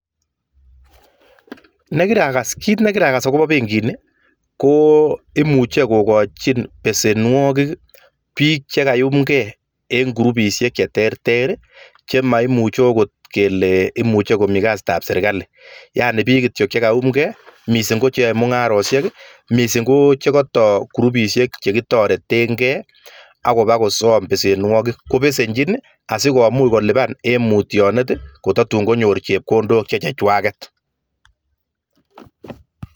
Kit nekirakas akobo benkini, ko imuchei kokochin besenwokik biik cheka iyumkei eng krupishek che terter chemaichei akot kele imuche kele mitei kasiitab serikali, yaani biik kityo cheka iumkei, mising koche yae mungaresiok, mising koche katoi krupisiek che kitoretenkei akoba kosom besenwokik, kobesenchin asikomuch en mutionet kotatun konyor chepkondok che cheng'wanket.